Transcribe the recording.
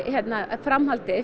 framhaldið